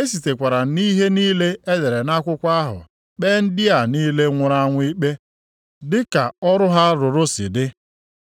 E sitekwara nʼihe niile e dere nʼakwụkwọ ahụ kpee ndị a niile nwụrụ anwụ ikpe dịka ọrụ ha rụrụ si dị.